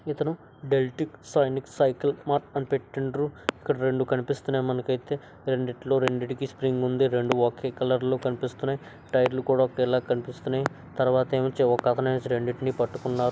ఇతను దేల్టిక్ సైనిక్ సైకిల్ మార్ట్ అని పెట్టిండ్రు. ఇక్కడ రెండు కనిపిస్తున్నాయ్ మనకి అయితే. రెండిట్లో రెండిటికి స్ప్రింగ్ ఉంది. రెండు ఒకే కలర్ లో కనిపిస్తున్నాయ్. టైర్లు కూడా ఒకేలా కనిపిస్తున్నాయ్. తర్వాత ఎముంచి ఒకతను ఎముంచి రెండిటిని పట్టుకున్నారు.